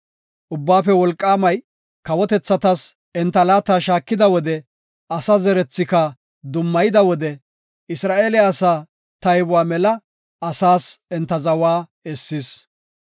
Ubbaafe Wolqaamay kawotethatas enta laata shaakida wode, asa zerethika dummayida wode, Isra7eele asaa taybuwa mela, asaas enta zawa essis.